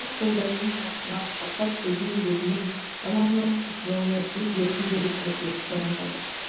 қолдарымен қапсыра құшақтап көзінен бетінен тамағынан құшырлана сүйіп еркін билеп әкетіп бара жатыр